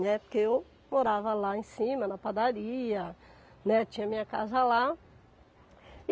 Né. Porque eu morava lá em cima, na padaria, né, tinha minha casa lá.